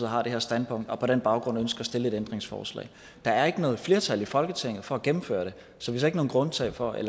har det her standpunkt og på den baggrund ønsker at stille et ændringsforslag der er ikke noget flertal i folketinget for at gennemføre det så vi så ikke noget grundlag for at